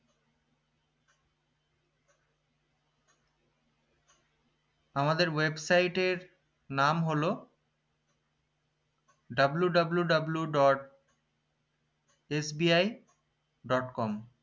আমাদের website এর নাম হলো wwwdotsbidotcom